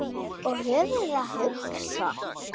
Og höfuðið hugsa?